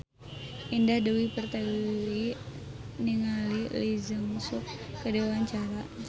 Indah Dewi Pertiwi olohok ningali Lee Jeong Suk keur diwawancara